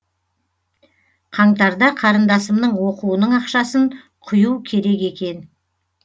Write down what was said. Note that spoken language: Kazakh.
қаңтарда қарындасымның оқуының ақшасын құю керек екен